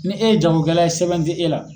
Ni e ye jagokɛla ye sɛbɛn tɛ e la